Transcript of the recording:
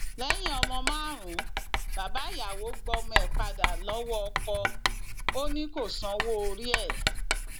lẹyìn ọmọ márùnún bàbá ìyàwó gbọmọ ẹ padà lọwọ ọkọ ò ní kó sanwó orí ẹ